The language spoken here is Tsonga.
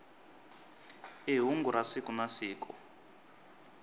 i hungu ra siku na siku